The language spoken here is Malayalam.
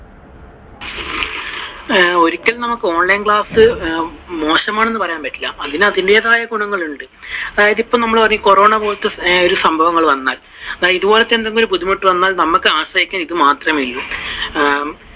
ഒരിക്കലും നമുക്കു online class മോശമാണെന്നു പറയാൻ പറ്റൂല. അതിനു അതിന്റെതായ ഗുണങ്ങളുണ്ട്. അതായതു ഇപ്പോ നമ്മൾ corona പോലത്തെ ഒരു സംഭവങ്ങൾ വന്നല്ലോ. ഇതുപോലത്തെ എന്തെങ്കിലും ബുദ്ധിമുട്ടുകൾ വന്നാൽ നമുക്കു ആശ്രയിക്കാൻ ഇത് മാത്രമേ ഉള്ളു. ആഹ്